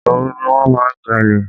Òru ni wón máa ń jalè.